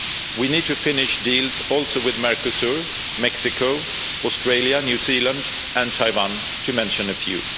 We need to finish deals with Mercosur, Mexico, Australia, New Zealand and Taiwan, to mention a few.